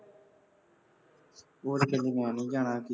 ਉਹ ਤਾਂ ਕਹਿੰਦੀ ਮੈਂ ਨਹੀਂ ਜਾਣਾ ਸੀ